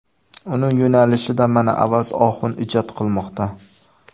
Uning yo‘nalishida mana Avaz Oxun ijod qilmoqda.